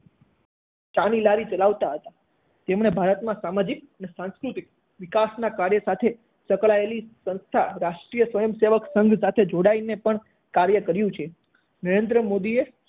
ચા ની લારી ચલાવતા હતા તેમણે ભારતમાં સામાજીક અને સાંસ્કૃતિક વિકાસના કાર્ય સાથે સંકળાયેલી સંસ્થા રાષ્ટ્રીય સ્વયંસેવક સંઘ સાથે જોડાઈને પણ કાર્ય કર્યું છે. નરેન્દ્ર મોદીએ